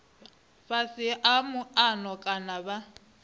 fhasi ha muano kana vha